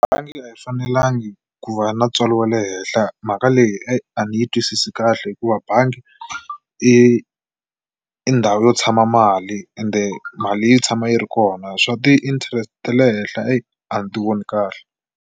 Bangi a yi fanelangi ku va na ntswalo wa le henhla mhaka leyi eyi a ni yi twisisi kahle hikuva bangi i i ndhawu yo tshama mali ende mali yi tshama yi ri kona swa ti-interest te le henhla eyi a ni ti voni kahle.